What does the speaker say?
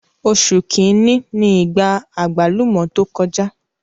Oṣù kìíní ni ìgbà àgbálùmọ́ tó kọjá.